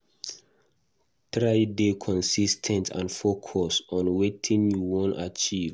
Try de consis ten t and focused on wetin you won achieve